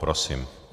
Prosím.